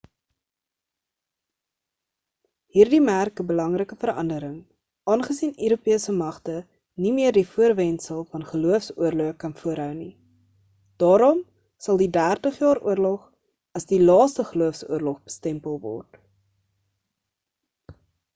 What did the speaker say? hierdie merk 'n belangrike verandering aangesien europese magte nie meer die voorwendsel van gelooofs-oorloë kan voorhou nie daarom sal die dertig jaar oorlog as die laaste geloofs-oorlog bestempel word